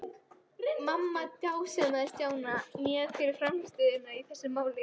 Mamma dásamaði Stjána mjög fyrir frammistöðuna í þessu máli.